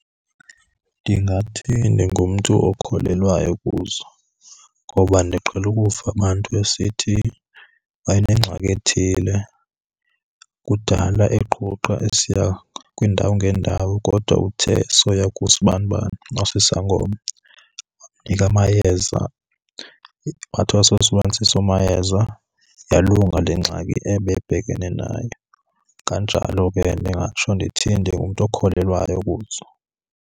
Ndingathi ndingumntu okholelwayo kuzo, ngoba ndiqhele ukuva abantu besithi banengxaki ethile kudala eqhuqha esiya kwiindawo ngeendawo kodwa uthe esoya kusibanibani osisangoma wamnika amayeza wathi wasosebenzisa awo mayeza yalunga le ngxaki ebebhekene nayo. Kanjalo ke ndingatsho ndithi ndingumntu okholelwayo kuzo.